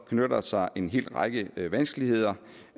knytter sig en hel række vanskeligheder